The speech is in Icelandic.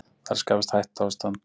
Það er að skapast hættuástand